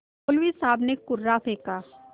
मौलवी साहब ने कुर्रा फेंका